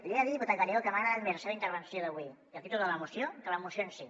li he de dir diputat gallego que m’ha agradat més la seva intervenció d’avui i el títol de la moció que la moció en si